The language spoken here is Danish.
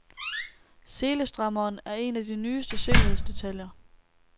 Selestrammeren er en af de nyeste sikkerhedsdetaljer.